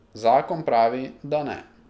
Zakon pravi, da ne.